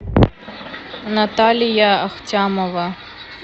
наталья ахтямова